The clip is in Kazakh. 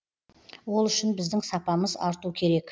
ол үшін біздің сапамыз арту керек